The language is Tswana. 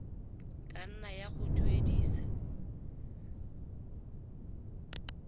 ka nna ya go duedisa